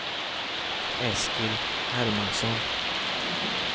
Eskil Hermansson